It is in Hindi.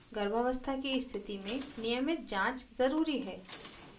गर्भावस्था की स्थिति में नियमित जाँच ज़रूरी है